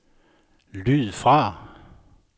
lyd fra